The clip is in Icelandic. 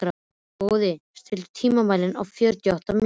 Boði, stilltu tímamælinn á fjörutíu og átta mínútur.